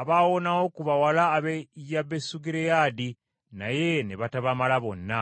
abaawonawo ku bawala ab’e Yabesugireyaadi, naye ne batabamala bonna.